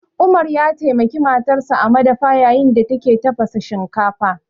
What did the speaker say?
Umar ya taimaki matarsa a madafa yayin da take tafasa shinkafa